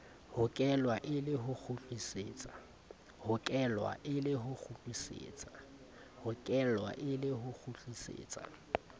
hokelwa e le ho kgutlisetsa